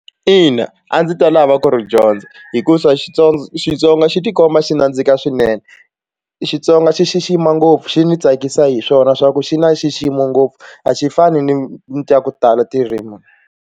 Ina, a ndzi ta lava ku ri dyondza hikuva Xitsonga xi tikomba xi nandzika swinene Xitsonga xi xixima ngopfu xi ndzi tsakisa hi swona swa ku xi na nxiximo ngopfu a xi fani ni ni ta ku tala .